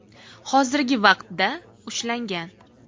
hozirgi vaqtda ushlangan.